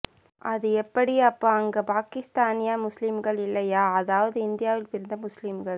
அது எப்படி அப்போ அங்கே பாகிஸ்தானிய முஸ்லிம்கள் இல்லையா அதாவது இந்தியாவில் பிறந்த முஸ்லிம்கள்